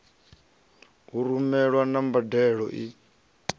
u rumelwa na mbadelo i